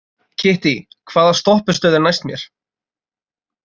Kittý, hvaða stoppistöð er næst mér?